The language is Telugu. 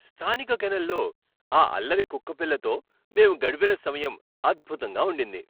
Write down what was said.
స్థానిక కెన్నెల్లో ఆ అల్లరి కుక్కపిల్లతో మేము గడిపిన సమయం అద్భుతంగా ఉండింది.